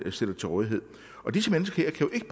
stiller til rådighed disse mennesker kan jo ikke